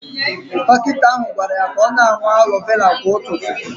Dọkịta ahụ gwara ya ka ọ na-aṅụ aloe vera kwa ụtụtụ